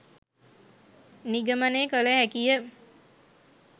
නිගමනය කළ හැකිය